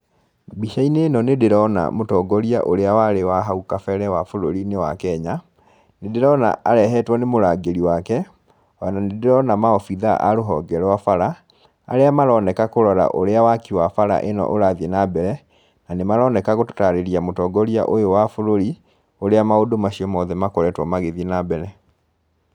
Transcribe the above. Mbica-inĩ ĩno nĩ ndĩrona mũtongoria ũrĩa warĩ wa hau kabere wa bũrũri-inĩ wa Kenya, nĩndĩrona arehetwo nĩ mũrangĩri wake, o na nĩndĩrona maobithaa a rũhonge rwa bara, arĩa maroneka kũrora ũrĩa waki wa bara ĩno ũrathiĩ na mbere, na nĩ maroneka gũtariria mũtongoria ũyũ wa bũrũri, ũrĩa maũndũ macio mothe makoretwo magĩthiĩ na mbere.